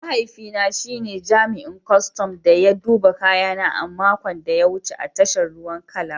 Mahaifina shi ne jami'in kwastan da ya duba kayana a makon da ya wuce a tashar ruwan Calabar